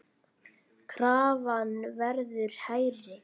Krafan verður hærri.